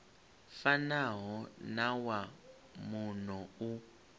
fanaho na wa muno u